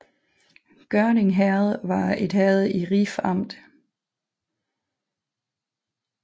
Gørding Herred var et herred i Ribe Amt